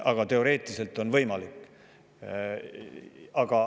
Kuid teoreetiliselt on see võimalik.